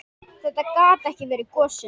Þetta gat ekki verið gosinn.